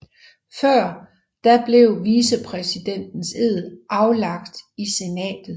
Før da blev vicepræsidentens ed aflagt i senatet